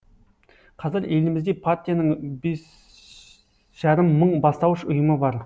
қазір елімізде партияның бес жарым мың бастауыш ұйымы бар